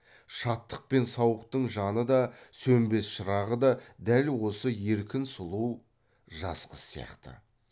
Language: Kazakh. шаттық пен сауықтың жаны да сөнбес шырағы да дәл осы еркін сұлу жас қыз сияқты